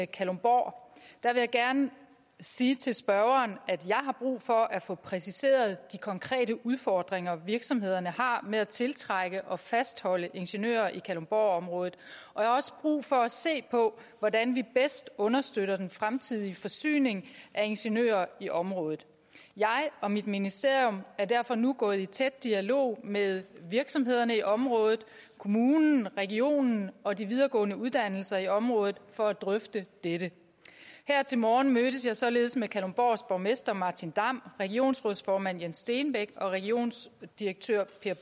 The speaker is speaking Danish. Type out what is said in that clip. kalundborg jeg vil gerne sige til spørgeren at jeg har brug for at få præciseret de konkrete udfordringer virksomhederne har med at tiltrække og fastholde ingeniører i kalundborgområdet og jeg har også brug for at se på hvordan vi bedst understøtter den fremtidige forsyning af ingeniører i området jeg og mit ministerium er derfor nu gået i tæt dialog med virksomhederne i området kommunen regionen og de videregående uddannelser i området for at drøfte dette her til morgen mødtes jeg således med kalundborgs borgmester martin damm regionsrådsformand jens stenbæk og regionsdirektør